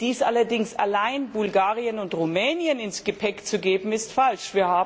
Dies allerdings alleine Bulgarien und Rumänien ins Gepäck zu geben, ist falsch.